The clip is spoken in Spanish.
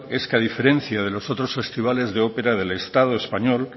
es que a diferencia de los otros festivales de ópera del estado español